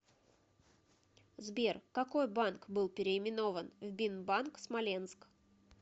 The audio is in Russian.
сбер какой банк был переименован в бинбанк смоленск